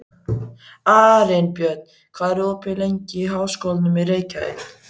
Arinbjörn, hvað er opið lengi í Háskólanum í Reykjavík?